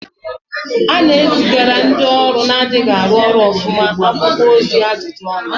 A na-ezigara ndị ọrụ na-adịghị arụ ọrụ ọfụma akwụkwọ ozi ajụjụ ọnụ